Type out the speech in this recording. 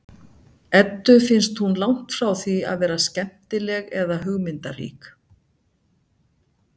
Eddu finnst hún langt frá því að vera skemmtileg eða hugmyndarík.